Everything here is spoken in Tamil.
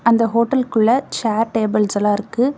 அந்த ஹோட்டல்குள்ள சேர் டேபிள்ஸ்ல்லா இருக்கு.